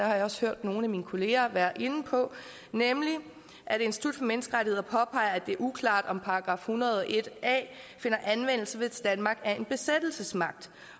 jeg også hørt nogle af mine kollegaer være inde på nemlig at institut for menneskerettigheder påpeger at det er uklart om § en hundrede og en a finder anvendelse hvis danmark er en besættelsesmagt